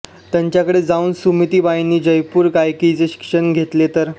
त्यांच्याकडे जाऊन सुमतीबाईंनी जयपूर गायकीचे शिक्षण घेतले तर